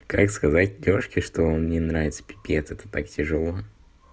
как сказать девушке что он мне нравится пипец это так тяжело